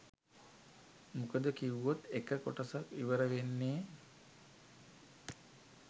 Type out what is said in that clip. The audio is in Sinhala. මොකද කිව්වොත් එක කොටසක් ඉවර වෙන්නේ